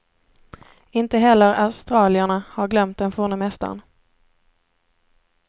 Inte heller australierna har glömt den forne mästaren.